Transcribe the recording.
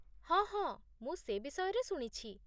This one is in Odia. ହଁ ହଁ, ମୁଁ ସେ ବିଷୟରେ ଶୁଣିଛି